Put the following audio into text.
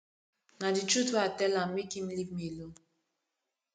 na the truth wey i tell am make him leave me oo